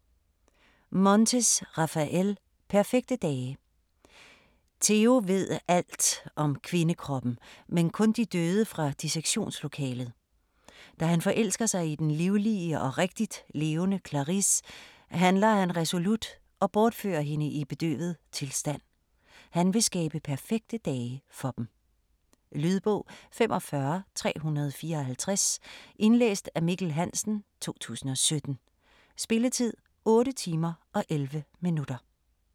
Montes, Raphael: Perfekte dage Teo ved alt om kvindekroppen, men kun de døde fra dissektionslokalet. Da han forelsker sig i den livlige og rigtigt levende Clarice, handler han resolut og bortfører hende i bedøvet tilstand. Han vil skabe perfekte dage for dem. Lydbog 45354 Indlæst af Mikkel Hansen, 2017. Spilletid: 8 timer, 11 minutter.